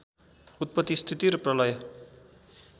उत्पत्ति स्थिति र प्रलय